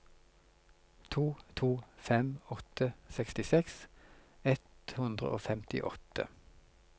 to to fem åtte sekstiseks ett hundre og femtiåtte